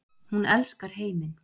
Hún elskar heiminn.